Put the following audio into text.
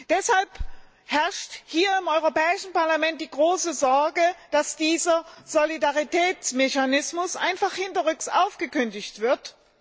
Deshalb herrscht hier im Europäischen Parlament die große Sorge, dass dieser Solidaritätsmechanismus einfach hinterrücks aufgekündigt wird.